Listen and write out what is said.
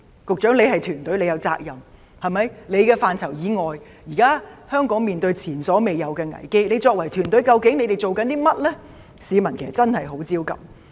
局長你是管治團隊的成員，你也有責任，現在香港面對前所未有的危機，你作為團隊的成員，究竟你們正在做甚麼呢？